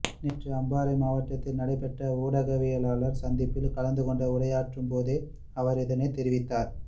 நேற்று அம்பாறை மாவட்டத்தில் நடைபெற்ற ஊடகவியலாளர் சந்திப்பில் கலந்துகொண்டு உரையாற்றும் போதே அவர் இதனைத் தெரிவித்தார்